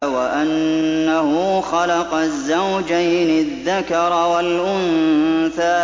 وَأَنَّهُ خَلَقَ الزَّوْجَيْنِ الذَّكَرَ وَالْأُنثَىٰ